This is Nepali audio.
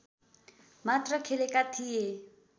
मात्र खेलेका थिए